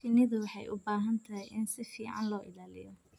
Shinnidu waxay u baahan tahay in si fiican loo ilaaliyo.